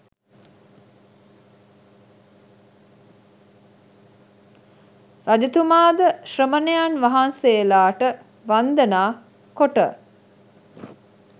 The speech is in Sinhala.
රජතුමා ද ශ්‍රමණයන් වහන්සේලාට වන්දනා කොට